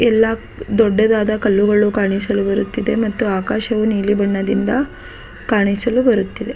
ಎಲ್ಲ ದೊಡ್ಡದಾದ ಕಲ್ಲುಗಳು ಕಾಣಿಸಲು ಬರುತ್ತಿದೆ ಮತ್ತು ಆಕಾಶವು ನೀಲಿ ಬಣ್ಣದಿಂದ ಕಾಣಿಸಲು ಬರುತ್ತಿದೆ.